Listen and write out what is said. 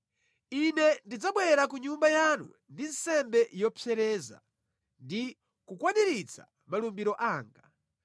Ine ndidzabwera ku Nyumba yanu ndi nsembe zopsereza ndi kukwaniritsa malumbiro anga.